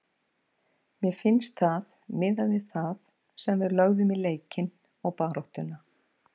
Mér finnst það miðað við það sem við lögðum í leikinn og baráttuna.